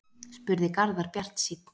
spurði Garðar bjartsýnn